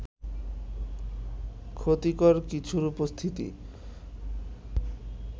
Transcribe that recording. ক্ষতিকর কিছুর উপস্থিতি